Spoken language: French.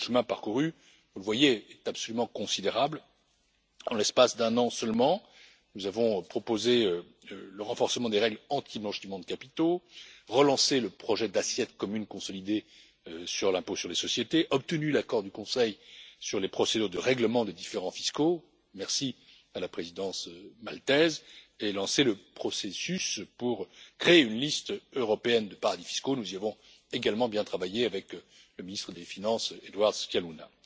Le chemin parcouru, vous le voyez, est absolument considérable. En l'espace d'un an seulement, nous avons proposé le renforcement des règles sur la lutte contre le blanchiment de capitaux, relancé le projet d'assiette commune consolidée pour l'impôt sur les sociétés, obtenu l'accord du Conseil sur les procédures de règlement des différends fiscaux merci à la présidence maltaise et lancé le processus pour créer une liste européenne de paradis fiscaux nous y avons également bien travaillé avec le ministre des finances Edward Scicluna.